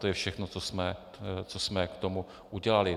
To je všechno, co jsme k tomu udělali.